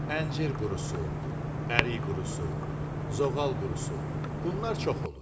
Əncir qurusu, ərik qurusu, zoğal qurusu, bunlar çox olur.